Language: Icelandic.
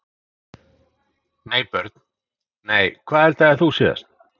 nei Börn: nei Hvað eldaðir þú síðast?